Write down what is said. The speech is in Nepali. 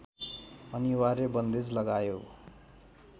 अनिवार्य बन्देज लगायो